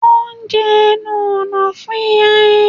Wọ́n jẹ́ ẹnu ọ̀nà fún ìrìn